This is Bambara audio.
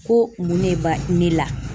Ko mun ne ba ne la?